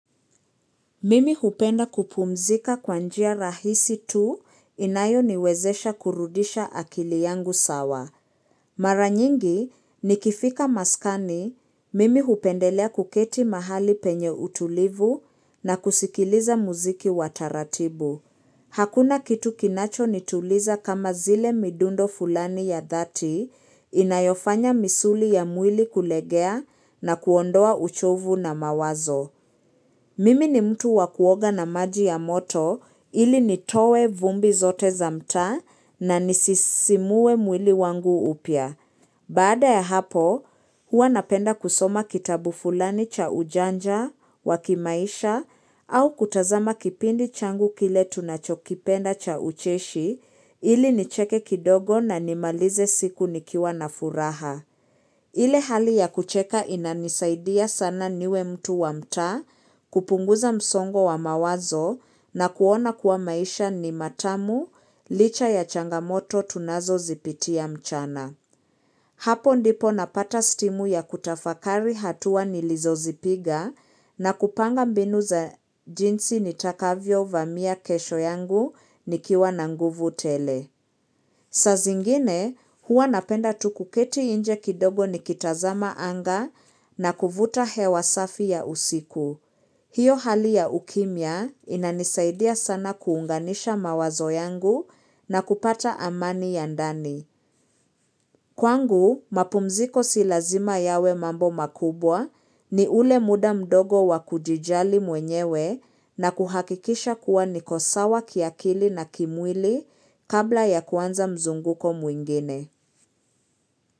Mimi hupenda kupumzika kwa njia rahisi tu inayo niwezesha kurudisha akili yangu sawa. Mara nyingi nikifika maskani, mimi hupendelea kuketi mahali penye utulivu na kusikiliza muziki wa taratibu. Hakuna kitu kinacho nituliza kama zile midundo fulani ya dhati inayofanya misuli ya mwili kulegea na kuondoa uchovu na mawazo. Mimi ni mtu wa kuoga na maji ya moto ili nitoe vumbi zote za mta na nisisimuwe mwili wangu upya. Baada ya hapo, hua napenda kusoma kitabu fulani cha ujanja, wa kimaisha, au kutazama kipindi changu kile tunachokipenda cha ucheshi ili nicheke kidogo na nimalize siku nikiwa na furaha. Ile hali ya kucheka inanisaidia sana niwe mtu wa mtaa, kupunguza msongo wa mawazo na kuona kuwa maisha ni matamu licha ya changamoto tunazo zipitia mchana. Hapo ndipo napata stimu ya kutafakari hatua nilizo zipiga na kupanga mbinu za jinsi nitakavyo vamia kesho yangu nikiwa na nguvu tele. Saa zingine huwa napenda tu kuketi inje kidogo ni kitazama anga na kuvuta hewa safi ya usiku. Hio hali ya ukimya inanisaidia sana kuunganisha mawazo yangu na kupata amani ya ndani. Kwangu, mapumziko si lazima yawe mambo makubwa, ni ule muda mdogo wa kujijali mwenyewe na kuhakikisha kuwa niko sawa kiakili na kimwili kabla ya kuanza mzunguko mwingine.